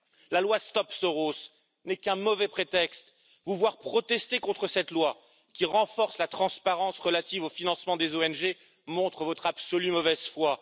La loi Stop Soros n'est qu'un mauvais prétexte vous voir protester contre cette loi, qui renforce la transparence relative au financement des ONG, montre votre absolue mauvaise foi.